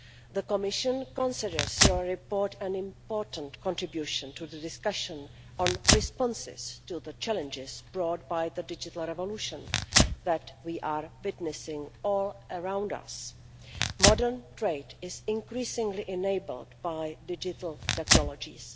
The Commission considers your report an important contribution to the discussion on responses to the challenges brought by the digital revolution that we are witnessing all around us. Modern trade is increasingly enabled by digital technologies.